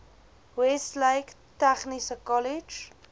westlake tegniese kollege